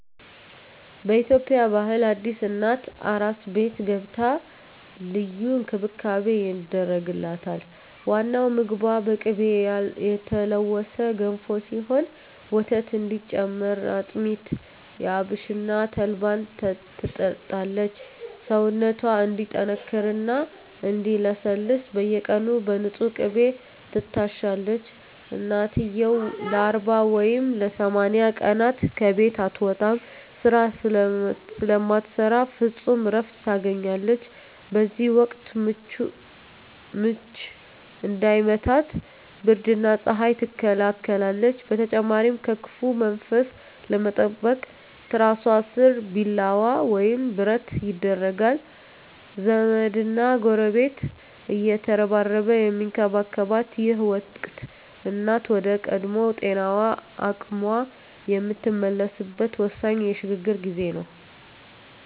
በኢትዮጵያ ባህል አዲስ እናት "አራስ ቤት" ገብታ ልዩ እንክብካቤ ይደረግላታል። ዋናው ምግቧ በቅቤ የተለወሰ ገንፎ ሲሆን፣ ወተት እንዲጨምር አጥሚት፣ አብሽና ተልባን ትጠጣለች። ሰውነቷ እንዲጠነክርና እንዲለሰልስ በየቀኑ በንፁህ ቅቤ ትታሻለች። እናትየው ለ40 ወይም ለ80 ቀናት ከቤት አትወጣም፤ ስራ ስለማትሰራ ፍጹም እረፍት ታገኛለች። በዚህ ወቅት "ምች" እንዳይመታት ብርድና ፀሐይ ትከላከላለች። በተጨማሪም ከክፉ መንፈስ ለመጠበቅ ትራሷ ስር ቢላዋ ወይም ብረት ይደረጋል። ዘመድና ጎረቤት እየተረባረበ የሚንከባከባት ይህ ወቅት፣ እናት ወደ ቀድሞ ጤናዋና አቅሟ የምትመለስበት ወሳኝ የሽግግር ጊዜ ነው።